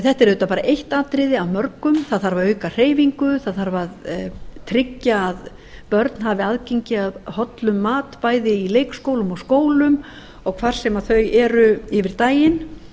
þetta er auðvitað bara eitt atriði af mörgum það þarf að auka hreyfingu það þarf að tryggja að börn hafi aðgengi að hollum mat bæði í leikskólum og skólum og hvar sem þau eru yfir daginn